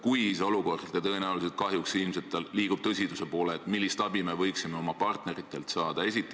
Kui olukord muutub tõsisemaks – ja tõenäoliselt nii see kahjuks läheb –, siis millist abi me võiksime oma partneritelt saada?